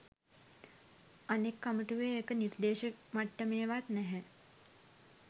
අනෙක් කමිටුවේ ඒක නිර්දේශ මට්ටමේවත් නැහැ